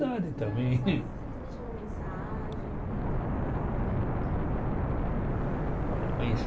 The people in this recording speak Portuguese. também deixar uma mensagem, um recado?